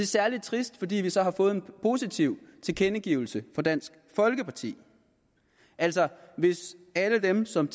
særligt trist fordi vi så har fået en positiv tilkendegivelse fra dansk folkeparti altså hvis alle dem som